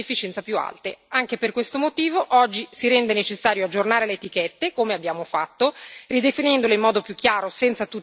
Anche per questo motivo, oggi si rende necessario aggiornare le etichette, come abbiamo fatto, ridefinendole in modo più chiaro, senza tutti quegli A, e comprensibile per i consumatori.